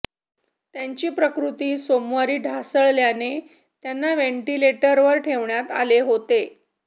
त्यांची प्रकृती सोमवारी ढासळल्याने त्यांना व्हेंटिलेटरवर ठेवण्यात आले होते